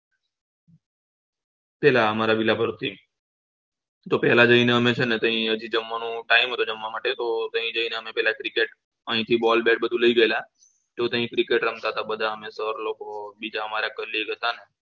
પેલા અમારા villa પરથી તો પેલા જઈને છે ને અહીંથી જમવાનું time હતો જમવા માટે તો ત્યાં જઈને પેલા અમે cricket અહીંથી boll bet બધું લઇ ગયેલા તો ત્યાં cricket રમતા હતા બધા તો લોકો બીજા અમારા colleague હતા ને